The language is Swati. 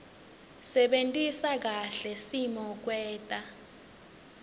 sebentisa kahle simokwenta